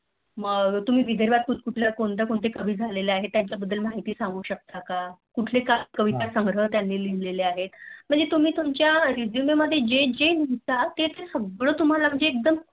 मग विदर्भात कोण कोण कुठले कुठले कवी झाले आहे त्या बद्दल तुम्ही माहिती सांगू शकता का? कुठले कविता संग्रह त्यानी लिहले आहे म्हणजे तुम्ही तुमच्या Resume मध्ये लिहता जेजे लिहता तेते सगळं तुम्हला म्हणजे एकद